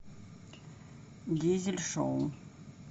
дизель шоу